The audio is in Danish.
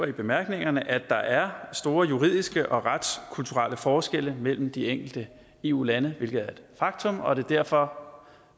i bemærkningerne at der er store juridiske og retskulturelle forskelle mellem de enkelte eu lande hvilket er et faktum og at det derfor